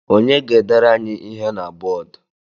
Onye ga-edere anyị ihe na bọọdụ?